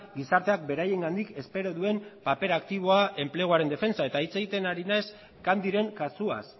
gizarteak beraiengandik espero duen paper aktiboa enpleguaren defentsa hitz egiten ari naiz candyren kasuaz